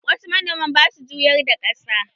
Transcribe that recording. Wasu manoman basu juyar da ƙasa